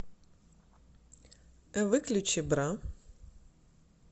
выключи бра